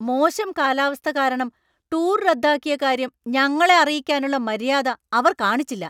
മോശം കാലാവസ്ഥ കാരണം ടൂർ റദ്ദാക്കിയ കാര്യം ഞങ്ങളെ അറിയിക്കാനുള്ള മര്യാദ അവർ കാണിച്ചില്ല.